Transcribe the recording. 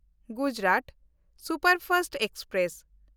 Gujarat superfast express